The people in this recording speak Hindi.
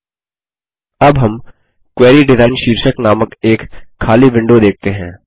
अब हम क्वेरी डिजाइन शीर्षक नामक एक खाली विंडो देखते हैं